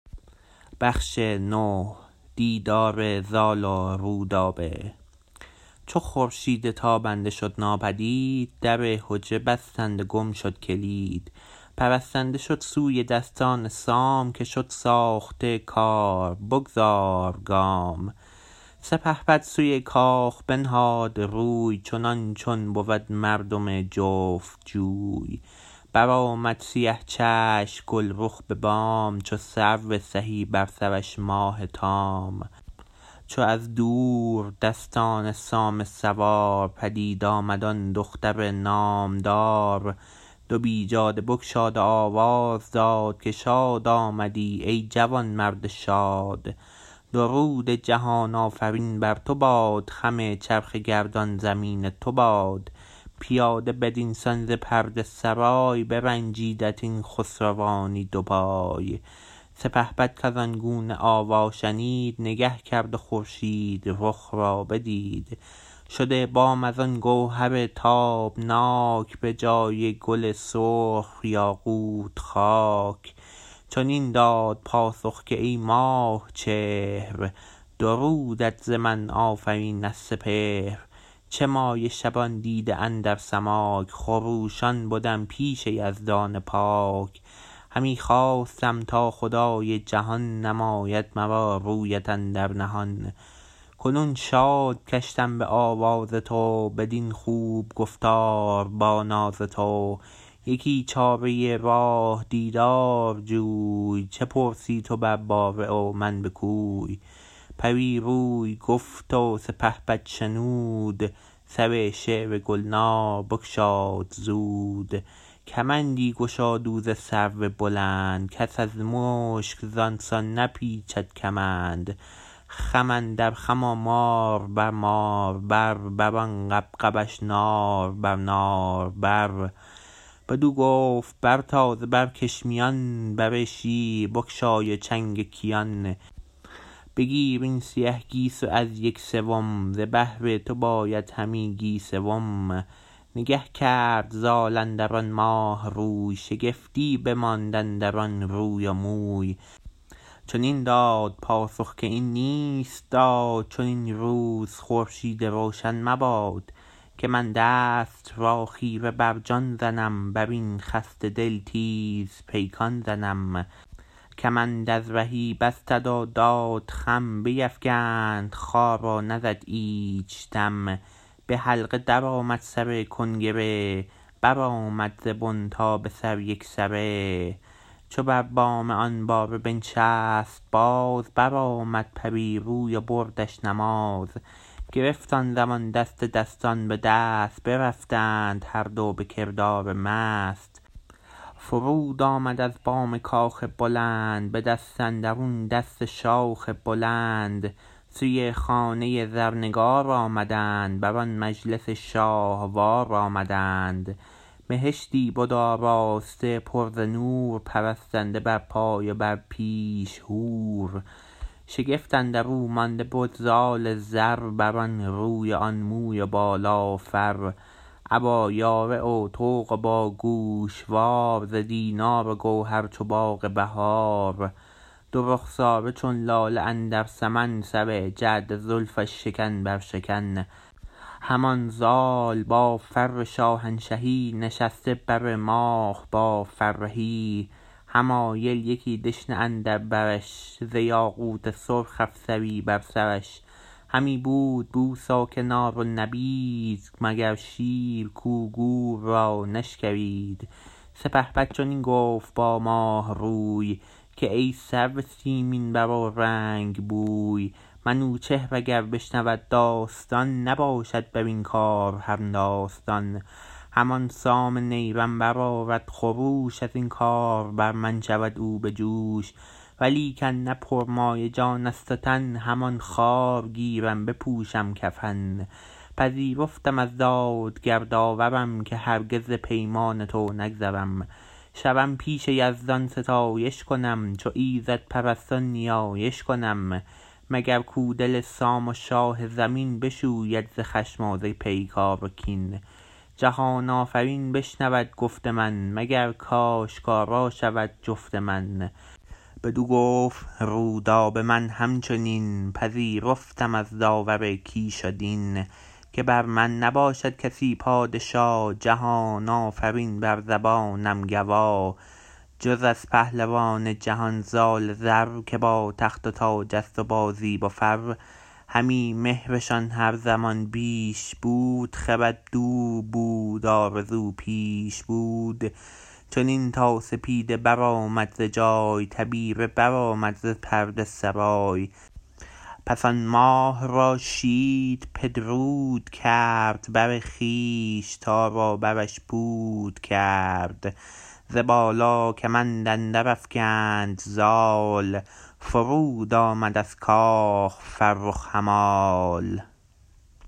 چو خورشید تابنده شد ناپدید در حجره بستند و گم شد کلید پرستنده شد سوی دستان سام که شد ساخته کار بگذار گام سپهبد سوی کاخ بنهاد روی چنان چون بود مردم جفت جوی برآمد سیه چشم گلرخ به بام چو سرو سهی بر سرش ماه تام چو از دور دستان سام سوار پدید آمد آن دختر نامدار دو بیجاده بگشاد و آواز داد که شاد آمدی ای جوانمرد شاد درود جهان آفرین بر تو باد خم چرخ گردان زمین تو باد پیاده بدین سان ز پرده سرای برنجیدت این خسروانی دو پای سپهبد کزان گونه آوا شنید نگه کرد و خورشید رخ را بدید شده بام از آن گوهر تابناک به جای گل سرخ یاقوت خاک چنین داد پاسخ که ای ماه چهر درودت ز من آفرین از سپهر چه مایه شبان دیده اندر سماک خروشان بدم پیش یزدان پاک همی خواستم تا خدای جهان نماید مرا رویت اندر نهان کنون شاد گشتم به آواز تو بدین خوب گفتار با ناز تو یکی چاره راه دیدار جوی چه پرسی تو بر باره و من به کوی پری روی گفت سپهبد شنود سر شعر گلنار بگشاد زود کمندی گشاد او ز سرو بلند کس از مشک زان سان نپیچد کمند خم اندر خم و مار بر مار بر بران غبغبش نار بر نار بر بدو گفت بر تاز و برکش میان بر شیر بگشای و چنگ کیان بگیر این سیه گیسو از یک سوم ز بهر تو باید همی گیسوم نگه کرد زال اندران ماه روی شگفتی بماند اندران روی و موی چنین داد پاسخ که این نیست داد چنین روز خورشید روشن مباد که من دست را خیره بر جان زنم برین خسته دل تیز پیکان زنم کمند از رهی بستد و داد خم بیفگند خوار و نزد ایچ دم به حلقه درآمد سر کنگره برآمد ز بن تا به سر یکسره چو بر بام آن باره بنشست باز برآمد پری روی و بردش نماز گرفت آن زمان دست دستان به دست برفتند هر دو به کردار مست فرود آمد از بام کاخ بلند به دست اندرون دست شاخ بلند سوی خانه زرنگار آمدند بران مجلس شاهوار آمدند بهشتی بد آراسته پر ز نور پرستنده بر پای و بر پیش حور شگفت اندرو مانده بد زال زر برآن روی و آن موی و بالا و فر ابا یاره و طوق و با گوشوار ز دینار و گوهر چو باغ بهار دو رخساره چون لاله اندر سمن سر جعد زلفش شکن بر شکن همان زال با فر شاهنشهی نشسته بر ماه بر فرهی حمایل یکی دشنه اندر برش ز یاقوت سرخ افسری بر سرش همی بود بوس و کنار و نبید مگر شیر کو گور را نشکرید سپهبد چنین گفت با ماه روی که ای سرو سیمین بر و رنگ بوی منوچهر اگر بشنود داستان نباشد برین کار همداستان همان سام نیرم برآرد خروش ازین کار بر من شود او بجوش ولیکن نه پرمایه جانست و تن همان خوار گیرم بپوشم کفن پذیرفتم از دادگر داورم که هرگز ز پیمان تو نگذرم شوم پیش یزدان ستایش کنم چو ایزد پرستان نیایش کنم مگر کو دل سام و شاه زمین بشوید ز خشم و ز پیکار و کین جهان آفرین بشنود گفت من مگر کاشکارا شوی جفت من بدو گفت رودابه من همچنین پذیرفتم از داور کیش و دین که بر من نباشد کسی پادشا جهان آفرین بر زبانم گوا جز از پهلوان جهان زال زر که با تخت و تاجست وبا زیب و فر همی مهرشان هر زمان بیش بود خرد دور بود آرزو پیش بود چنین تا سپیده برآمد ز جای تبیره برآمد ز پرده سرای پس آن ماه را شید پدرود کرد بر خویش تار و برش پود کرد ز بالا کمند اندر افگند زال فرود آمد از کاخ فرخ همال